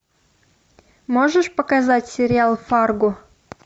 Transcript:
можешь показать сериал фарго